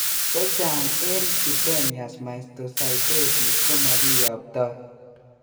Chechang en cutaneous mastocytosis komokiyoptoi